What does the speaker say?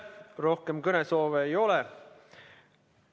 Rohkem kõnesoove ei ole.